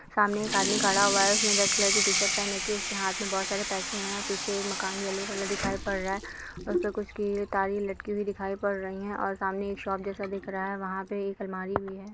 सामने एक आदमी खड़ा हुआ है उसने रेड कलर की टी-शर्ट पहन रखी है उसके हाथ में बहुत सारे पैसे हैं पीछे एक मकान येलो कलर का दिखाई पड़ रहा है उस पर कुछ तारें लटकी हुई दिखाई पड़ रही हैं और सामने एक शॉप जैसा दिख रहा है और वहाँ पर एक अलमारी भी है।